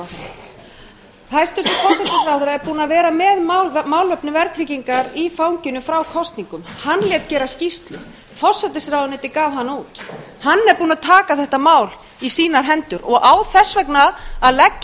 fjármálaráðherranum hæstvirtur forsætisráðherra er búinn að vera með málefni verðtryggingar í fanginu frá kosningum hann lét gera skýrslu forsætisráðuneytið gaf hana út hann er búinn að taka þetta mál í sínar hendur og á þess vegna að leggja í